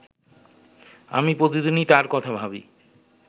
আমি প্রতিদিনই তার কথা ভাবি